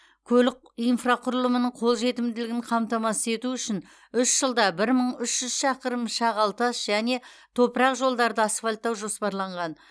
көлік инфрақұрылымының қол жетімділігін қамтамасыз ету үшін үш жылда бір мың үш жүз шақырым шағал тас және топырақ жолдарды асфальттау жоспарланған